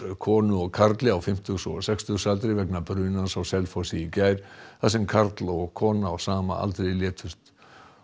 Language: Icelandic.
konu og karli á fimmtugs og sextugsaldri vegna brunans á Selfossi í gær þar sem karl og kona á sama aldri létust